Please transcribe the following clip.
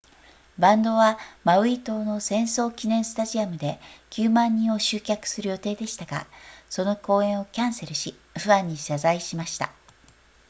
バンドはマウイ島の戦争記念スタジアムで 90,000 人を集客する予定でしたがその公演をキャンセルしファンに謝罪しました